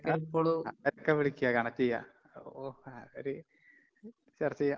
അഹ് അവരൊക്കെ വിളിക്കാ, കണക്റ്റെയ്യാ. ഓ അവര് ചർച്ചെയ്യാം.